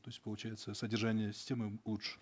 то есть получается содержание системы лучше